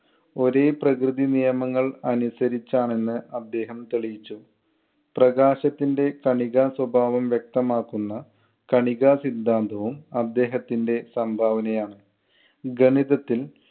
ഒരേ പ്രകൃതി നിയമങ്ങൾ അനുസരിച്ചാണ് എന്ന് അദ്ദേഹം തെളിയിച്ചു. പ്രകാശത്തിന്‍റെ കണികാസ്വഭാവം വ്യക്തമാക്കുന്ന കണികാ സിദ്ധാന്തവും അദ്ദേഹത്തിന്‍റെ സംഭാവനയാണ്. ഗണിതത്തിൽ